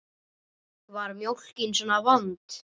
Var mjólkin svona vond?